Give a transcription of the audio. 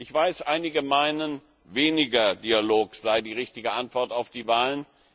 Ich weiß, einige meinen, weniger Dialog sei die richtige Antwort auf die Wahlen.